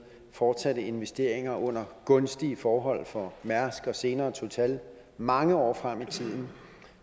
fortsatte investeringer under gunstige forhold for mærsk og senere total mange år frem i tiden